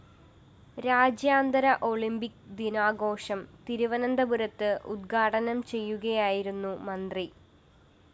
രാജ്യാന്തര ഒളിമ്പിക് ദിനാഘോഷം തിരുവനന്തപുരത്ത് ഉദ്ഘാടനം ചെയ്യുകയായിരുന്നു മന്ത്രി